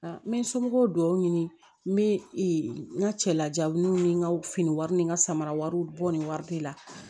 N bɛ n somɔgɔw dɔw ɲini n bɛ n ka cɛlajaw n ni n ka fini wari ni n ka samaraw bɔ ni wari tɛ la